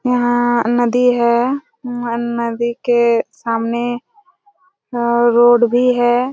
यहाँ नदी है और नदी के सामने और रोड भी है।